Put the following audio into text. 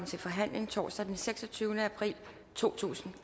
til forhandling torsdag den seksogtyvende april totusinde